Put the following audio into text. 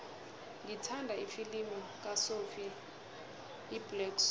ngithanda ifilimu kasophie iblack swann